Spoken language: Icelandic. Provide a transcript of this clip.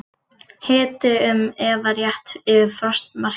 Hiti um eða rétt yfir frostmarki